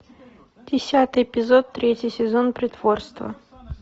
десятый эпизод третий сезон притворство